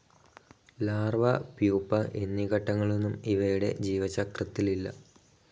Larva, pupa എന്നീ ഘട്ടങ്ങളൊന്നും ഇവയുടെ ജീവചക്രത്തിലില്ല.